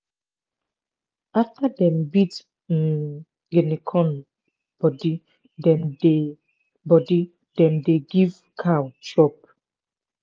after dem beat um guinea corn body dem dey body dem dey give cow chop.